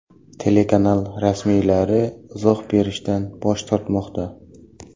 Telekanal rasmiylari izoh berishdan bosh tortmoqda.